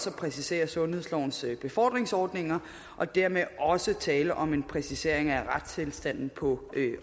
en præcisering af sundhedslovens befordringsordninger og dermed er der også tale om en præcisering af retstilstanden på